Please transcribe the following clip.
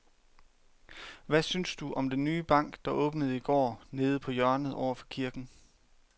Hvad synes du om den nye bank, der åbnede i går dernede på hjørnet over for kirken?